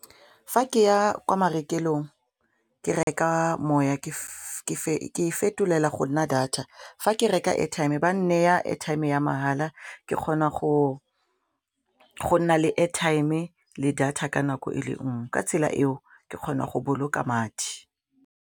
Fa ke ya kwa marekelong ke reka moya ke fetolela go nna data fa ke reka airtime ba neya airtime ya mahala ke kgona go nna le airtime le data ka nako e le nngwe ka tsela eo ke kgona go boloka madi.